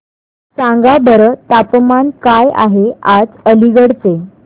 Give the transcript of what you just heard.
सांगा बरं तापमान काय आहे आज अलिगढ चे